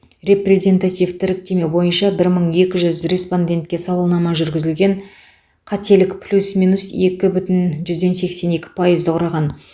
репрезентативті іріктеме бойынша бір мың екі жүз респондентке сауалнама жүргізілген қателік плюс минус екі бүтін жүзден сексен екі пайызды құраған